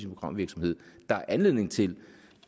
programvirksomheden der er anledning til